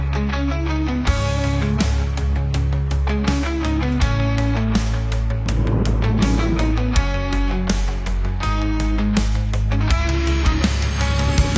O hissi bir gün itirəndə, onu əvəz eləyə bilən, ona tay ola bilən heç nə yoxdur.